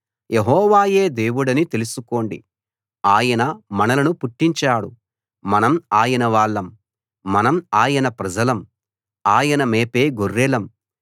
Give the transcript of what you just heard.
యెహోవాయే దేవుడని తెలుసుకోండి ఆయన మనలను పుట్టించాడు మనం ఆయన వాళ్ళం మనం ఆయన ప్రజలం ఆయన మేపే గొర్రెలం